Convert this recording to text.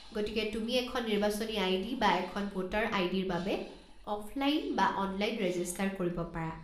গতিকে তুমি এখন নিৰ্বাচনী আই.ডি. বা এখন ভোটাৰ আই.ডি.-ৰ বাবে অফলাইন বা অনলাইন ৰেজিষ্টাৰ কৰিব পাৰা।